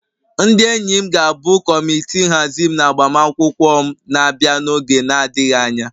Ndị enyi m ga-abụ kọmitii nhazi m na agbamakwụkwọ m na-abịa n'oge na-adịghị anya